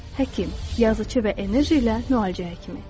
Həkim, yazıçı və enerji ilə müalicə həkimi.